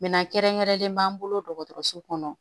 kɛrɛnkɛrɛnnen b'an bolo dɔgɔtɔrɔso kɔnɔ